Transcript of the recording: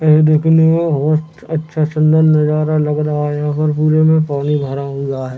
ये देखने में बहुत अच्छा सूंदर नजारा लग रहा है और यहाँ पर पुरे में पानी भरा हुआ है।